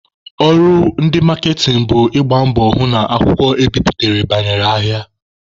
Ọrụ ndị maaketịn bụ ịgba mbọ hụ na akwụkwọ ebiputere banyere ahịa.